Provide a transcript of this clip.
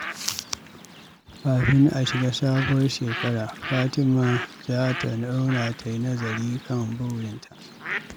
Kafin a shiga sabuwar shekara, Fatima za ta zauna ta yi nazari kan burinta.